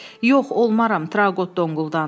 Yox, olmaram, Trauqot donquldandı.